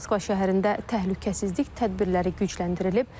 Moskva şəhərində təhlükəsizlik tədbirləri gücləndirilib.